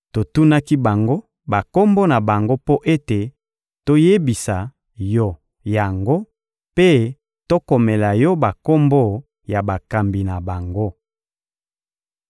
Totunaki bango bakombo na bango mpo ete toyebisa yo yango mpe tokomela yo bakombo ya bakambi na bango.